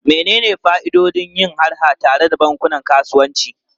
Menene fa'idodin yin harha tare da bankunan kasuwanci?